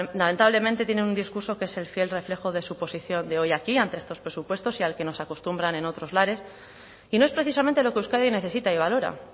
lamentablemente tienen un discurso que es el fiel reflejo de su posición de hoy aquí ante estos presupuestos y al que nos acostumbran en otros lares y no es precisamente lo que euskadi necesita y valora